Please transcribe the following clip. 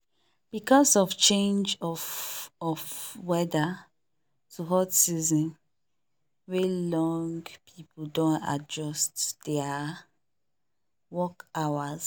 because of change of of weather to hot season wey long people don adjust their work hours